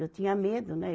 Eu tinha medo, né?